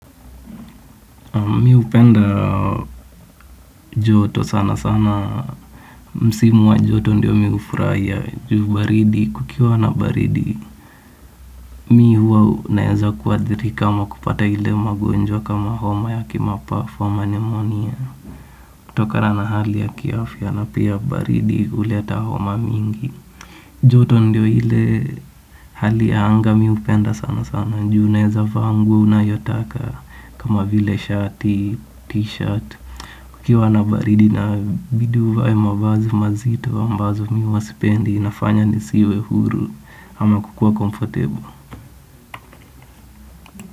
Mimi hupenda joto sana sana, msimu wa joto ndiyo mimi hufurahia juu baridi, kukiwa na baridi. Mimi huwa naweza kuathirika ama kupata ile magonjwa kama homa ya kimapafu au nimonia. Kutokana hali ya kiafya na pia baridi huleta homa mingi. Joto ndiyo ile hali ya anga mimi hupenda sana sana, juu unaweza vaa nguo unayotaka kama vile shati, t-shirt. Kukiwa na baridi inabidi uvae mavazi mazito ambazo mimi huwa sipendi inafanya nisiwe huru ama kukuwa comfortable.